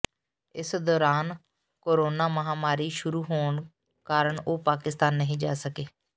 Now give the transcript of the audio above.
ਇਸ ਦੌਰਾਨ ਕੋਰੋਨਾ ਮਹਾਂਮਾਰੀ ਸ਼ੁਰੂ ਹੋਣ ਕਾਰਨ ਉਹ ਪਾਕਿਸਤਾਨ ਨਹੀਂ ਜਾ ਸਕੇ